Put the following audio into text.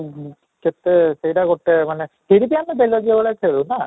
କେତେ ସେଇଟା ଗୋଟେ ମାନେ ସେଇଠି ଆମେ ବେଲଜ୍ୟା ଭଳିଆ ଖେଳୁ ନା